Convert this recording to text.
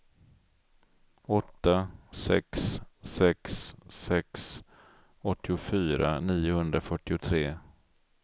åtta sex sex sex åttiofyra niohundrafyrtiotre